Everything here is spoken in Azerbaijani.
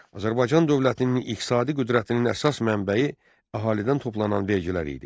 Azərbaycan dövlətinin iqtisadi qüdrətinin əsas mənbəyi əhalidən toplanan vergilər idi.